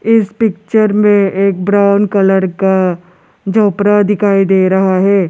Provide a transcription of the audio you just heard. इस पिक्चर में एक ब्राउन कलर का झोपड़ा दिखाई दे रहा है।